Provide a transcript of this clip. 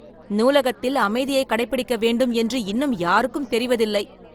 நூலகத்தில் அமைதியை கடைபிடிக்க வேண்டும். என்று இன்னும் யாருக்கும் தெரிவதில்லை.